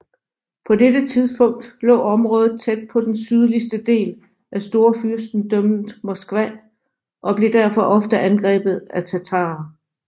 På dette tidspunkt lå området tæt på den sydligste del af Storfyrstendømmet Moskva og blev derfor ofte angrebet af tatarer